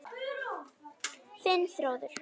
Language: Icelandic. Þinn Þórður.